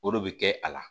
O de bɛ kɛ a la